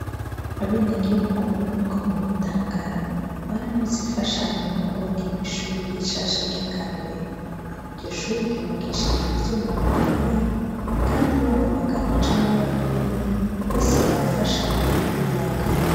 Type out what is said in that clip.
Abenegihugu bomuri komine tangara bararonse imfashanyo yo kubakirwa ishure rishasha ryakarorero iryoshure ryubakishijwe ivyuma bikomeye kandi baba abagabo canke abagore bose barafasha mukuryubaka